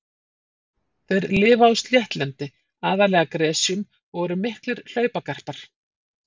Þeir lifa á sléttlendi, aðallega gresjum og eru miklir hlaupagarpar.